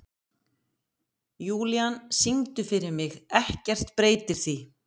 Júlían, syngdu fyrir mig „Ekkert breytir því“.